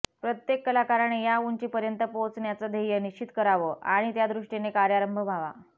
प्रत्येक कलाकाराने या उंचीपर्यंत पोहोचण्याचं ध्येय निश्चित करावं आणि त्यादृष्टीने कार्यारंभ व्हावा